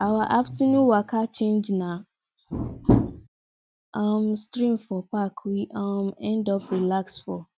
our afternoon waka change na um stream for park we um end up relax for